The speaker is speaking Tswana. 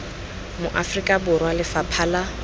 mo aforika borwa lefapha la